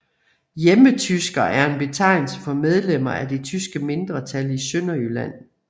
Hjemmetysker er en betegnelse for medlemmer af det tyske mindretal i Sønderjylland